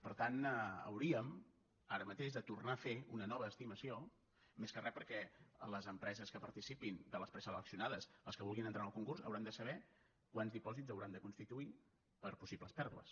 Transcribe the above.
per tant hauríem ara mateix de tornar a fer una nova estimació més que re perquè les empreses que participin de les preseleccionades les que vulguin entrar en el concurs hauran de saber quants dipòsits hauran de constituir per possibles pèrdues